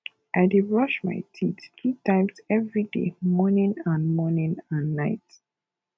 i dey brush my teeth two times every day morning and morning and night